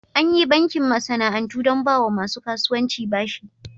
Anyi bankin masana'antu don bawa masu kasuwanci bashi.